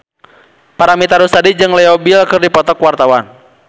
Paramitha Rusady jeung Leo Bill keur dipoto ku wartawan